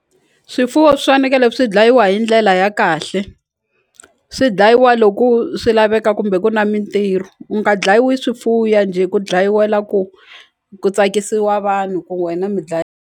Swifuwo swi fanekele swi dlayiwa hi ndlela ya kahle swi dlayiwa loku swi laveka kumbe ku na mintirho ku nga dlayiwi swifuya njhe ku dlayiwela ku ku tsakisiwa vanhu ku wena mi dlaya.